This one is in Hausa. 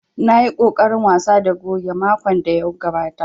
Na yi ƙoƙarin wasa da goge makon da ya gabata